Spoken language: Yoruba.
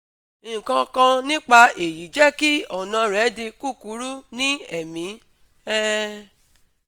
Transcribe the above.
nkankan nipa eyi jẹ ki ọna rẹ di kukuru ni ẹmi um